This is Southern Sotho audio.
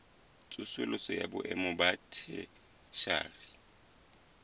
tsosoloso ya boemo ba theshiari